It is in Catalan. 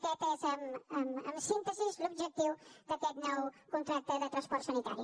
aquest és en síntesi l’objectiu d’aquest nou contracte de transport sanitari